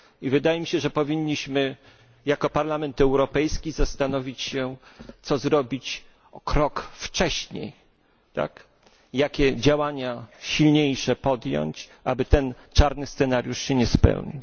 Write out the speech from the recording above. Wydaje mi się, że powinniśmy jako Parlament Europejski zastanowić się, co zrobić o krok wcześniej, jakie silniejsze działania podjąć, aby ten czarny scenariusz się nie spełnił.